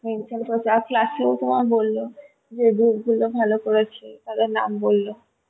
mention করেছে আর class এও তোমার বল্লো যে এই group গুলো ভালো করেছে তাদের নাম বল্লো